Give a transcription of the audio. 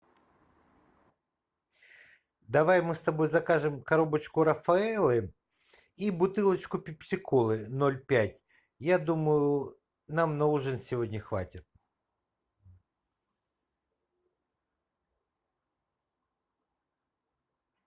давай мы с тобой закажем коробочку рафаэллы и бутылочку пепси колы ноль пять я думаю нам на ужин сегодня хватит